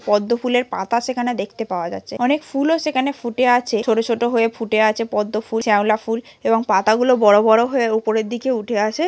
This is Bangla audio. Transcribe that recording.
পদ্ম ফুলের পাতা সেখানে দেখতে পাওয়া যাচ্ছে। অনেক ফুলও সেখানে ফুটে আছে। ছোট ছোট হয়ে ফুটে আছে পদ্ম ফুল শ্যাওলা ফুল এবং পাতাগুলো বড় বড় হয়ে উপরের দিকে উঠে আসে ।